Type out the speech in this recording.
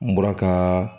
N bɔra ka